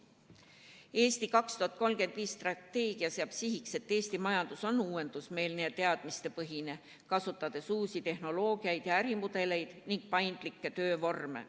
Strateegia "Eesti 2035" seab sihiks, et Eesti majandus oleks uuendusmeelne ja teadmistepõhine, kasutades uusi tehnoloogiaid ja ärimudeleid ning paindlikke töövorme.